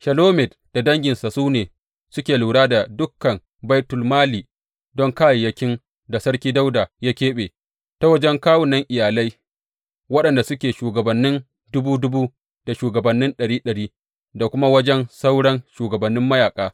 Shelomit da danginsa su ne suke lura da dukan baitulmali don kayayyakin da Sarki Dawuda ya keɓe, ta wajen kawunan iyalai waɗanda suke shugabannin dubu dubu da shugabannin ɗari ɗari, da kuma wajen sauran shugabannin mayaƙa.